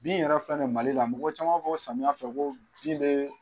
Bin yɛrɛ filɛ nin Mali la mɔgɔ caman b'a fɔ ko samiya fɛ ko bin bɛ